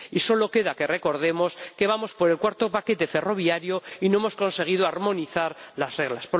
Y solo queda que recordemos que vamos por el cuarto paquete ferroviario y no hemos conseguido armonizar las reglas.